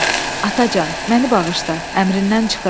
Atacan, məni bağışla, əmrindən çıxıram.